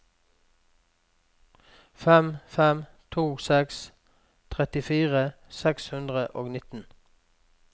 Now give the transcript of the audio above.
fem fem to seks trettifire seks hundre og nitten